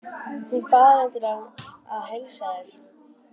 Hún bað reyndar að heilsa þér.